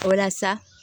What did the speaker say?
Walasa